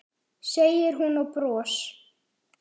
segir hún og bros